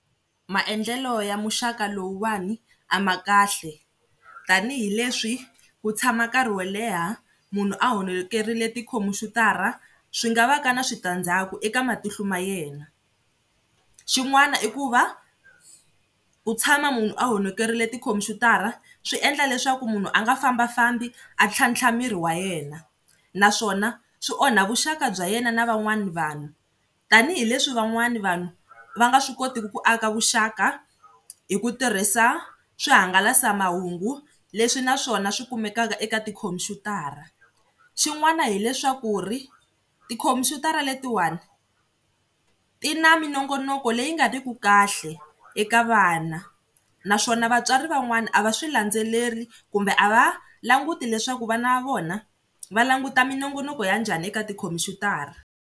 Maendlelo ya muxaka lowuwani a ma kahle tanihileswi ku tshama nkarhi wo leha munhu a honolokerile tikhompyutara swi nga va ka na switandzhaku eka matihlo ma yena. Xin'wana i ku va ku tshama munhu a honokerile tikhompyutara swi endla leswaku munhu a nga fambafamba a ntlhantlha miri wa yena naswona swi onha vuxaka bya yena na van'wana vanhu tanihileswi van'wana vanhu va nga swi kotiki ku aka vuxaka hi ku tirhisa swihangalasamahungu leswi na swona swi kumekaka eka tikhompyutara. Xin'wana hileswaku ri tikhompyutara letiwani ti na minongonoko leyi nga ri ku kahle eka vana naswona vatswari van'wana a va swi landzeleri kumbe a va languti leswaku vana va vona va languta minongonoko ya njhani eka tikhompyutara.